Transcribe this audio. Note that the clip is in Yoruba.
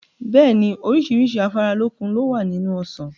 Bẹ́ẹ̀ni, oríṣiríṣi afáralókun lowa nínú Ọsàn.